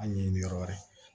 A ɲɛɲini yɔrɔ wɛrɛ